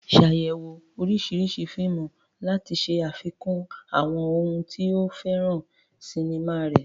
Ṣàyẹ̀wò oríṣiríṣi oríṣiríṣi fíìmù láti ṣe àfikún àwọn ohun tí o fẹ́ràn sinimá rẹ.